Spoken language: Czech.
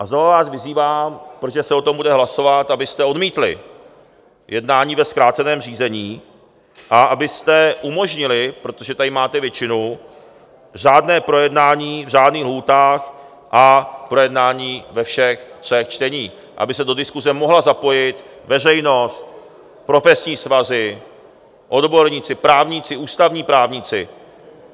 A znovu vás vyzývám, protože se o tom bude hlasovat, abyste odmítli jednání ve zkráceném řízení a abyste umožnili, protože tady máte většinu, řádné projednání v řádných lhůtách a projednání ve všech třech čteních, aby se do diskuse mohla zapojit veřejnost, profesní svazy, odborníci, právníci, ústavní právníci.